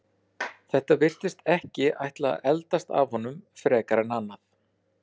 Þetta virðist ekki ætla að eldast af honum frekar en annað.